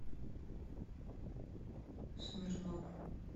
смирнов